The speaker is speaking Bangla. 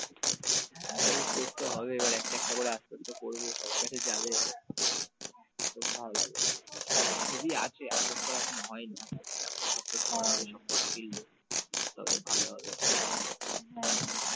হ্যাঁ করতে হবে এবার একটা একটা করে আস্তে আস্তে করবো সবার কাছে যাবে খুব ভালো লাগবে। কটা ছবি আছে upload করা এখনো হয়নি আসতে আসতে upload upload করতে ওই সব কটা field তবে ভালো হবে।